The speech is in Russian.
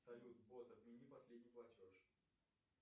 салют бот отмени последний платеж